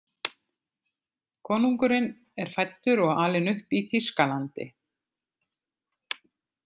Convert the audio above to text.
Konungurinn er fæddur og alinn upp í Þýskalandi.